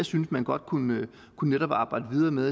synes man godt kunne kunne arbejde videre med